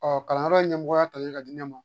Ɔ kalanyɔrɔ in ɲɛmɔgɔya talen ka di ne ma